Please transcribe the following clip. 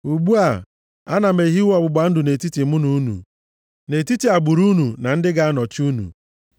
“Ugbu a, ana m ehiwe ọgbụgba ndụ nʼetiti mụ na unu, na nʼetiti agbụrụ unu ndị ga-anọchi unu,